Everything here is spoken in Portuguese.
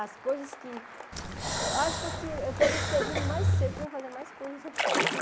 As coisas que... Eu acho que eu teria que ter vindo mais cedo para fazer mais coisas em São Paulo.